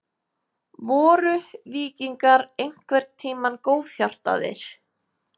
Voru víkingar einhvern tímann góðhjartaðir?